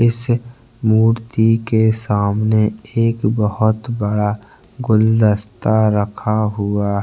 इस मूर्ति के सामने एक बहुत बड़ा गुलदस्ता रखा हुआ --